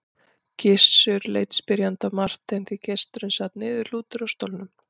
Gizur leit spyrjandi á Martein því gesturinn sat niðurlútur á stólnum.